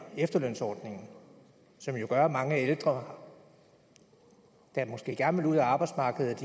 efterlønsordningen som jo gør at mange ældre der måske gerne vil ud af arbejdsmarkedet